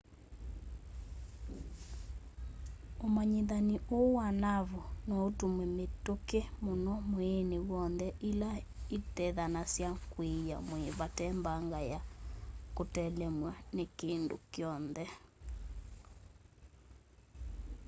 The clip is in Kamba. ũmanyĩthani ũũ wa naavu noũtũmwe mĩtĩkĩ mũno mwĩĩnĩ w'onthe ĩla ĩtethasya kwiia mwĩĩ vate mbanga ya kũtelemw'a nĩ kĩndũ kyonthe